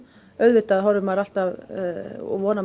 auðvitað horfir maður alltaf og vonar